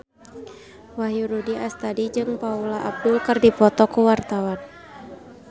Wahyu Rudi Astadi jeung Paula Abdul keur dipoto ku wartawan